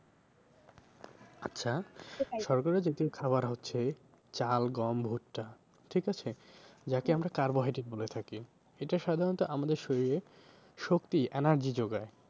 আচ্ছা শর্করা জাতীয় খাবার হচ্ছে চাল গম ভুট্টা ঠিক আছে? যাকে আমরা carbohydrate বলে থাকি। এটা সাধারণত আমাদের শরীরে শক্তি energy যোগায়।